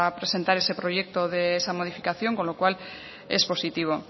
presentar ese proyecto de esa modificación con lo cual es positivo